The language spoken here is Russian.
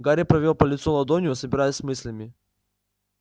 гарри провёл по лицу ладонью собираясь с мыслями